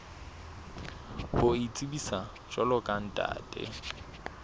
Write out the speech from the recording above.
ho itsebisa jwalo ka ntate